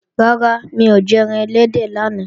Rárá, mi ò jẹran ẹlẹ́dẹ̀ lánàá